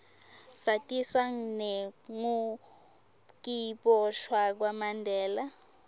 satiswa nengukiboshwa kwamandela